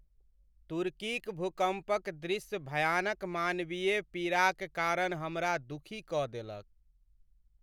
तुर्कीक भूकम्पक दृश्य भयानक मानवीय पीड़ाक कारण हमरा दुखी कऽ देलक।